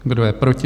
Kdo je proti?